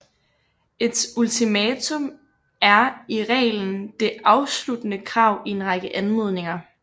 Et ultimatum er i reglen det afsluttende krav i en række anmodninger